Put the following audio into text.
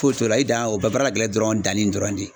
Foyi t'o la, i dan ye o bɛ baara ka gɛlɛ dɔrɔn danni dɔrɔn de